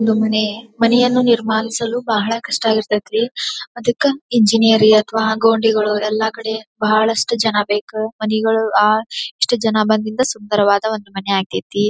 ಇದು ಮನೆ. ಮನೆಯನು ನಿರ್ಮಾನಿಸಲು ಭಹಳ ಕಷ್ಟ ಆಗಿರ್ತೇತರೀ. ಅದ್ದಕ್ಕ ಇಂಜಿನಿಯರ್ ಅಥವಾ ಗೊಂಡಿಗಳು ಎಲ್ಲ ಕಡೆ ಬಹಳ ಅಷ್ಟು ಜನ ಬೇಕ ಮನೆಗಳು ಆ ಎಷ್ಟು ಜನ ಬಂದಿದ್ದ ಸುಂದರವಾದ ಒಂದು ಮನೆ ಆಗ್ತೇತಿ.